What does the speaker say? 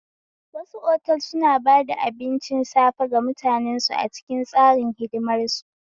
Wasu otel suna bada abincin safe ga mutanen su a cikin tsarin hidimar su